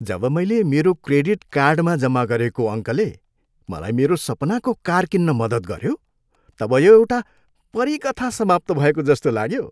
जब मैले मेरो क्रेडिट कार्डमा जम्मा गरेको अङ्कले मलाई मेरो सपनाको कार किन्न मद्दत गऱ्यो तब यो एउटा परी कथा समाप्त भएको जस्तो लाग्यो।